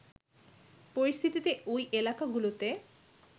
পরিস্থিতিতে ওই এলাকাগুলোতে